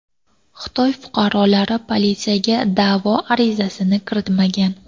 Xitoy fuqarolari politsiyaga da’vo arizasini kiritmagan.